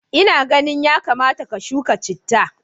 Ina ganin yakamata ka shuka chitta.